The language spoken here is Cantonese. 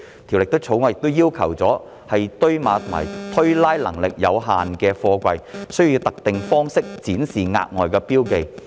《條例草案》亦要求堆碼或推拉能力有限的貨櫃需要以特定方式展示額外的標記。